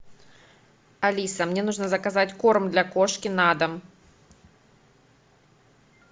алиса мне нужно заказать корм для кошки на дом